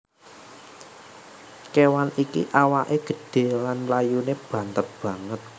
Kewan iki awaké gedhé lan mlayuné banter banget